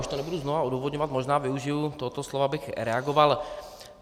Už to nebudu znovu odůvodňovat, možná využiji tohoto slova, abych reagoval.